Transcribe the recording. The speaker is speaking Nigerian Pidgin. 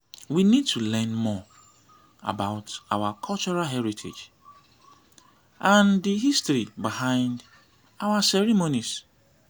we need to learn more about our cultural heritage and di history behind our ceremonies.